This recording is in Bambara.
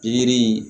Pikiri